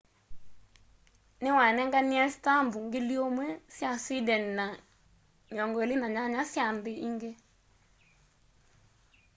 niwanenganie stambu 1,000 sya sweden na 28 sya nthi ingi